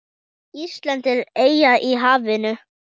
Ísland er eyja í hafinu.